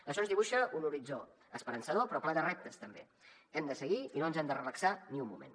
això ens dibuixa un horitzó esperançador però ple de reptes també hem de seguir i no ens hem de relaxar ni un moment